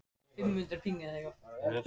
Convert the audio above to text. Fertram, ég kom með sextíu og tvær húfur!